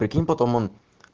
прикинь потом он